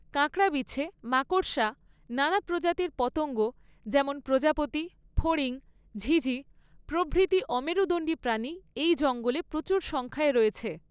কাঁকড়াবিছে, মাকড়সা, নানা প্রজাতির পতঙ্গ যেমন প্রজাপতি, ফড়িং, ঝিঁঝিঁ প্রভৃতি অমেরুদণ্ডী প্রাণী এই জঙ্গলে প্রচুর সংখ্যায় রয়েছে।